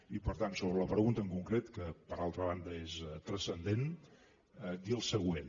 i per tant sobre la pregunta en concret que per altra banda és transcendent dir el següent